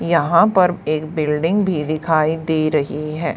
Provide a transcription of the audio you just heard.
यहां पर एक बिल्डिंग भी दिखाई दे रही है।